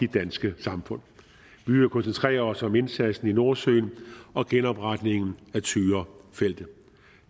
danske samfund vi vil koncentrere os om indsatsen i nordsøen og genopretningen af tyrafeltet